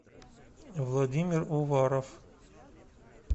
владимир уваров